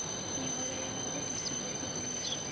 miholo ya vhagudisi yo gonyiswa